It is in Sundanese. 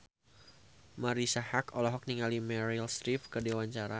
Marisa Haque olohok ningali Meryl Streep keur diwawancara